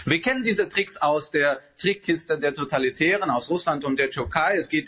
Wir kennen diese Tricks aus der Trickkiste der Totalitären, aus Russland und der Türkei.